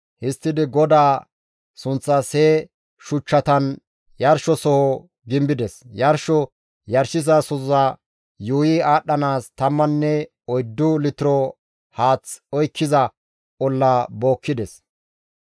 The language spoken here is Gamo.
Histtidi GODAA sunththas he shuchchatan yarshosoho gimbides; yarsho yarshizasoza yuuyi aadhdhanaas tammanne oyddu litiro haath oykkiza olla bookkides.